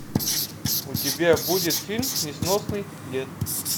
у тебя будет фильм несносный дед